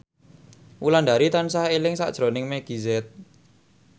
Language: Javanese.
Wulandari tansah eling sakjroning Meggie Z